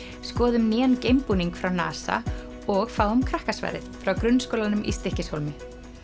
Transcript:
skoðum nýjan frá NASA og fáum frá grunnskólanum í Stykkishólmi